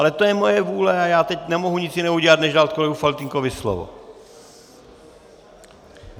Ale to je moje vůle a já teď nemohu nic jiného udělat než dát kolegovi Faltýnkovi slovo.